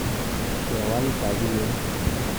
Kewal tabiet.